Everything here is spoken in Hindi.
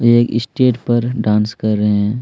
एक स्टेज पर डांस कर रहे हैं।